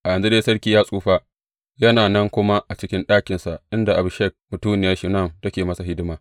A yanzu dai sarki ya tsufa, yana nan kuma a cikin ɗakinsa, inda Abishag mutuniya Shunam take masa hidima.